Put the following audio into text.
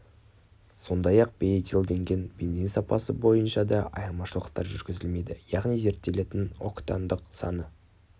сондай-ақ бейэтилденген бензин сапасы бойынша да айырмашылықтар жүргізілмейді яғни зерттелететін октандық саны